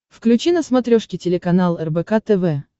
включи на смотрешке телеканал рбк тв